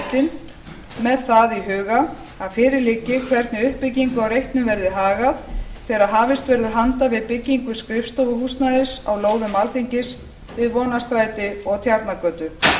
alþingisreitinn með það í huga að fyrir liggi hvernig uppbyggingu á reitnum verði hagað þegar hafist verður handa við byggingu skrifstofuhúsnæðis á lóðum alþingis við vonarstræti og tjarnargötu